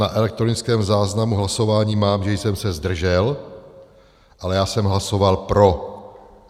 Na elektronickém záznamu hlasování mám, že jsem se zdržel, ale já jsem hlasoval pro.